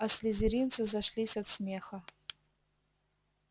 а слизеринцы зашлись от смеха